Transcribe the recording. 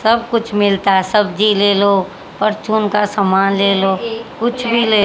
सब कुछ मिलता हैं सब्जी ले लो परचून का सामान ले लो कुछ भी ले--